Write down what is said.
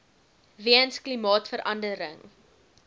weens klimaatsverande ring